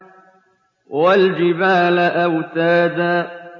وَالْجِبَالَ أَوْتَادًا